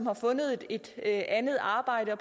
har fundet et andet arbejde og